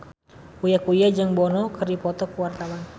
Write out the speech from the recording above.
Uya Kuya jeung Bono keur dipoto ku wartawan